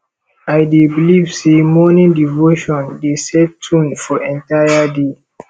i dey believe say morning devotion dey set tone for entire day